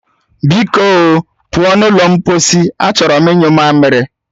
Biko o, pụọ n'ụlọ mposi, achọrọ m inyu mamiri